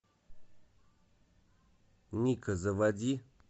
ника заводи